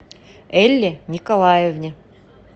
элле николаевне